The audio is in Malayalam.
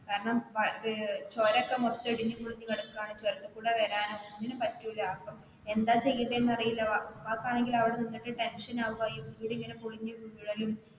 കാരണം അഹ് ചുരം ഒക്കെ മൊത്തം ഇടിഞ്ഞു പൊളിഞ്ഞു കിടക്കുവാണ് ചുരത്തിൽ കൂടെ വരാനോ ഒന്നിനും പറ്റൂല അപ്പൊ എന്താ ചെയ്യേണ്ടേ എന്ന് അറിയില്ല അപ്പൊ വാപ്പയാണെങ്കിൽ അവിടെ നിന്നിട്ട് tension ആവുക ഈ വീട് ഇങ്ങനെ പൊളിഞ്ഞു വീഴും,